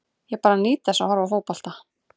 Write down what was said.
Ég bara nýt þess að horfa á fótbolta.